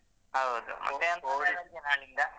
ಹೌದು ಮತ್ತೆ ರಜೆಯ ನಿಮ್ಗೆ.